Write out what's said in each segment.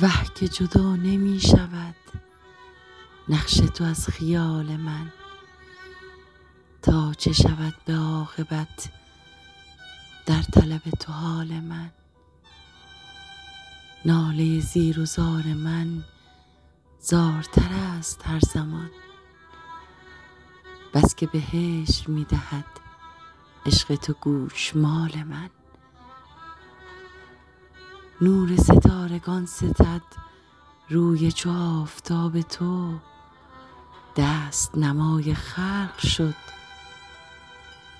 وه که جدا نمی شود نقش تو از خیال من تا چه شود به عاقبت در طلب تو حال من ناله زیر و زار من زارتر است هر زمان بس که به هجر می دهد عشق تو گوشمال من نور ستارگان ستد روی چو آفتاب تو دست نمای خلق شد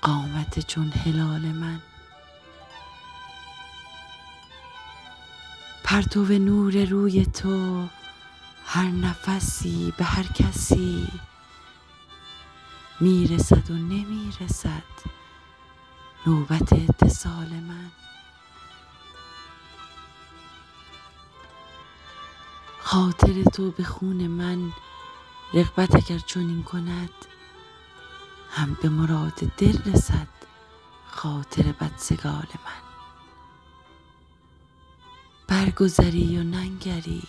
قامت چون هلال من پرتو نور روی تو هر نفسی به هر کسی می رسد و نمی رسد نوبت اتصال من خاطر تو به خون من رغبت اگر چنین کند هم به مراد دل رسد خاطر بدسگال من برگذری و ننگری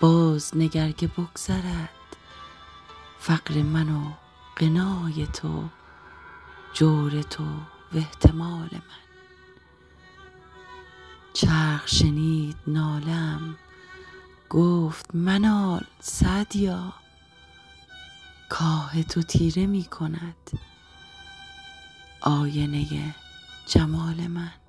بازنگر که بگذرد فقر من و غنای تو جور تو و احتمال من چرخ شنید ناله ام گفت منال سعدیا کآه تو تیره می کند آینه جمال من